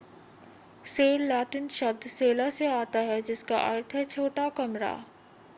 cell Latin शब्द सेला से आता है जिसका अर्थ है छोटा कमरा